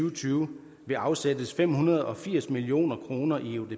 og tyve afsættes fem hundrede og firs million kroner i eudp